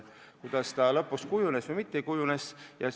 Milliseks see istung kokkuvõttes kujunes?